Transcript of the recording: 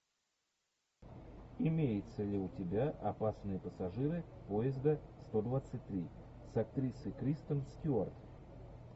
имеется ли у тебя опасные пассажиры поезда сто двадцать три с актрисой кристен стюарт